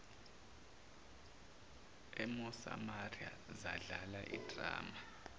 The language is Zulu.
emosamaria zadlala idrama